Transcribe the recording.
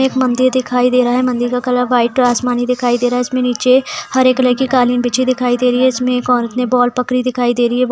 एक मंदिर दिखाई दे रहा है मंदिर का कलर वाइट और आसमानी दिखाई दे रही है इसमें नीचे हरे कलर की कालीन बिछी दिखाई दे रही हैऔर इसमें एक औरत ने बॉल पकड़ी दिखाई दे रही हैं बॉल --